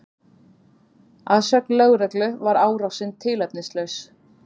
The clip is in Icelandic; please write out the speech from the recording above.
Að sögn lögreglu var árásin tilefnislaus